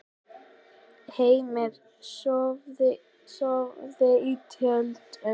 Heimir: Sofið í tjöldum?